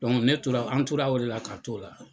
ne tora an tora a o la ka t'o la.